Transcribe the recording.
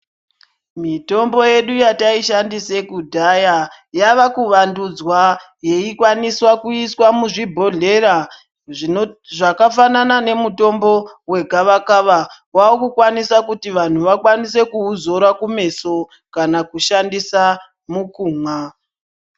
Mitombo yedu yataishandise kudhaya yakuvandudzwa yeikwaniswa kuiswa muzvibhodhlera zvakafanana nemutombo wegavakava wakukwanisa kuti vantu vakwanise kuuzora kumeso kana kushandisa mukumwa.